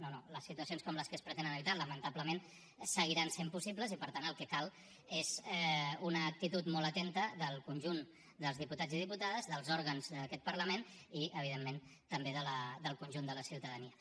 no no les situacions com les que es pretenen evitar lamentablement seguiran sent possibles i per tant el que cal és una actitud molt atenta del conjunt dels diputats i diputades dels òrgans d’aquest parlament i evidentment també del conjunt de la ciutadania